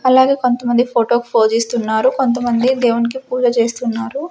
అలాగే కొంతమంది ఫోటో పోజిస్తున్నారు కొంతమంది దేవునికి పూజ చేస్తున్నారు.